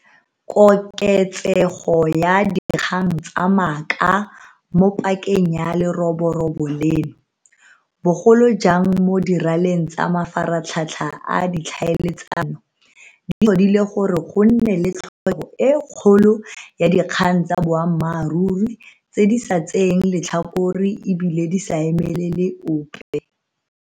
Koketsego ya dikgang tsa maaka mo pakeng ya leroborobo leno, bogolo jang mo diraleng tsa mafaratlhatlha a ditlhaeletsano, di tlhodile gore go nne le tlhokego e kgolo ya dikgang tsa boammaruri, tse di sa tseeng letlhakore e bile di sa emelele ope.